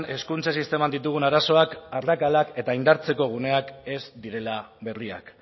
hezkuntza sisteman ditugun arazoak arrakalak eta indartzeko guneak ez direla berriak